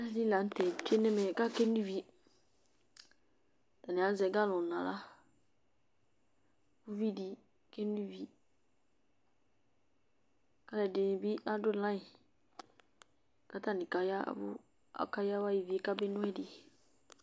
Alʋɛdɩnɩ la tɛ atsue nʋ ɛmɛ kʋ akeno ivi Atanɩ azɛ galɔn nʋ aɣla Uvi dɩ keno ivi kʋ alʋɛdɩnɩ bɩ adʋ layɩn kʋ atanɩ kaya ɛvʋ, akayawa ivi yɛ kameno ɛdɩ